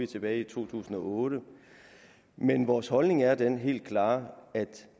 tilbage i to tusind og otte men vores holdning er den helt klare at